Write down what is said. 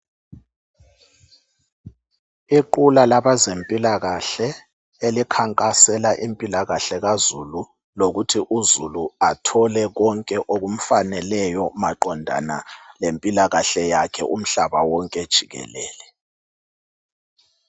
Iqula labezempilakahle elikhankasela impilakahle kazulu lokuthi uzulu athole konke okumfaneleyo maqondana lempilakahle yakhe umhlaba wonke jikelele.